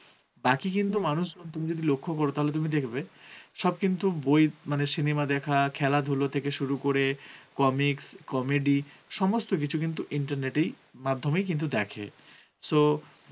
বাকি কিন্তু মানুষ তুমি যদি লক্ষ্য করো তাহলে দেখবে অ্যাঁ সব কিন্তু বই মানে cinema দেখা মানে খেলা ধুলো থেকে সুরু করে, comics, comedy সমস্ত কিছু কিন্তু internet এই মাধ্যমেই কিন্তু দেখে so